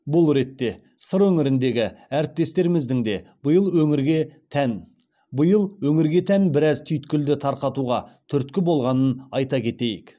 бұл ретте сыр өңіріндегі әріптестеріміздің де биыл өңірге тән біраз түйткілді тарқатуға түрткі болғанын айта кетейік